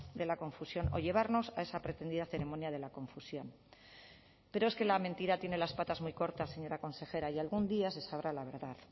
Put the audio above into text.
de la confusión o llevarnos a esa pretendida ceremonia de la confusión pero es que la mentira tiene las patas muy cortas señora consejera y algún día se sabrá la verdad